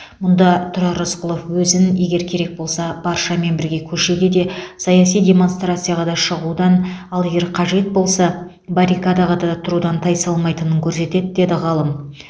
мұнда тұрар рысқұлов өзін егер керек болса баршамен бірге көшеге де саяси демонстрацияға да шығудан ал егер қажет болса баррикадаға да тұрудан тайсалмайтынын көрсетеді деді ғалым